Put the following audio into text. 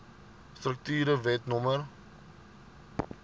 strukture wet no